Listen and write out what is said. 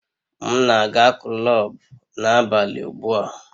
M na-aga kulub n'abalị ugbu a